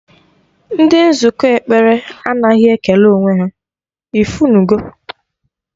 Ndị nzukọ ekpere anaghị ekele onwe ha, ifunugo